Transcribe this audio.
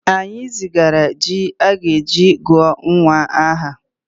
Anyị zigara ji a ga-eji gụọ nwa aha